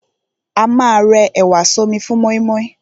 A ma rẹ ẹ̀wà sọ́mi fún mọ́ímọ́í.